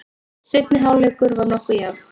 Seinni hálfleikur var nokkuð jafn.